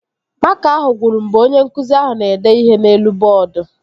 Makaa ahụ gwụrụ mgbe onye nkụzi ahụ na-ede ihe n'elu bọọdu